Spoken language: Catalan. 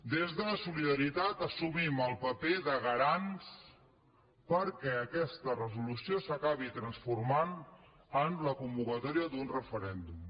des de solidaritat assumim el paper de garants perquè aquesta resolució s’acabi transformant en la convocatòria d’un referèndum